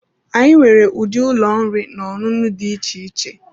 Anyị nwere ụdị ụlọ oriri na ọṅụṅụ dị iche iche.